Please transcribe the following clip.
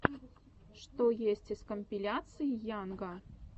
что есть из компиляций йанга